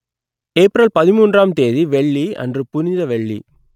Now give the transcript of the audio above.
April மூன்றாம் தேதி வெள்ளி அன்று புனித வெள்ளி